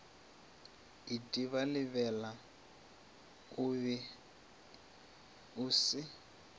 itebalebela o be o se